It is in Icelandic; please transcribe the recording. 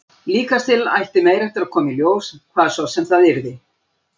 Líkast til ætti meira eftir að koma í ljós, hvað svo sem það yrði.